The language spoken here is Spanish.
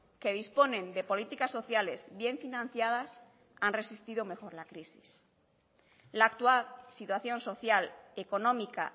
que disponen de políticas sociales bien financiadas han resistido mejor la crisis la actual situación social económica